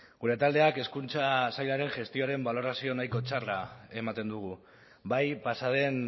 gure taldeak hezkuntza sailaren gestioaren balorazio nahiko txarra ematen dugu bai pasa den